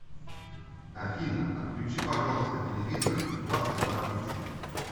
афина отключи пожалуйста телевизор в двадцать два тридцать